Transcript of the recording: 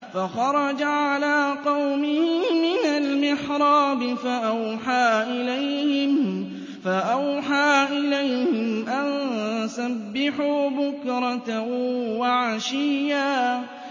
فَخَرَجَ عَلَىٰ قَوْمِهِ مِنَ الْمِحْرَابِ فَأَوْحَىٰ إِلَيْهِمْ أَن سَبِّحُوا بُكْرَةً وَعَشِيًّا